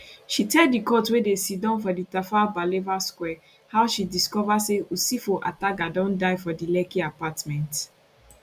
she tell di court wey dey siddon for di tafawa balewa square how she discover say usifo ataga don die for di lekki apartment